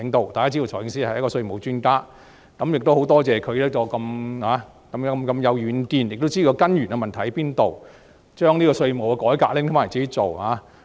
大家都知道財政司司長是一位稅務專家，也多謝他很有遠見，知道問題的根源在哪裏，把稅務改革任務交由他自己負責。